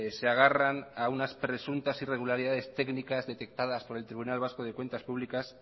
se agarran a unas presuntas irregularidades técnicas detectadas por el tribunal vasco de cuentas públicas